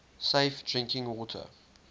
safe drinking water